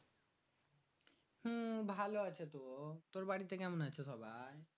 হু ভালো আছে তো। তুর বাড়িতে কেমন আছে সবাই?